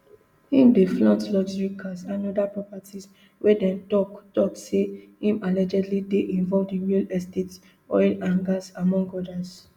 im dey flaunt luxury cars and oda properties wia dem tok tok say im allegedly dey involved in real estates oil and gas among odas